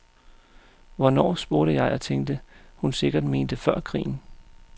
Hvornår, spurgte jeg og tænkte, hun sikkert mente før krigen.